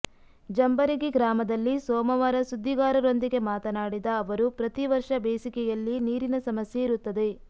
ಜಂಬರಗಿ ಗ್ರಾಮದಲ್ಲಿ ಸೋಮವಾರ ಸುದ್ದಿಗಾರರೊಂದಿಗೆ ಮಾತನಾಡಿದ ಅವರು ಪ್ರತಿ ವರ್ಷ ಬೇಸಿಗೆಯಲ್ಲಿ ನೀರಿನ ಸಮಸ್ಯೆ ಇರುತ್ತದೆ